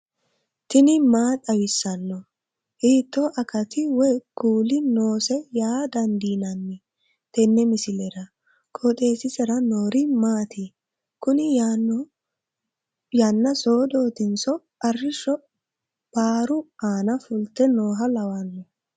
tini maa xawissanno ? hiitto akati woy kuuli noose yaa dandiinanni tenne misilera? qooxeessisera noori maati? kuni yannna soodootinso arrishsho baaru aana fulte nooha lawanno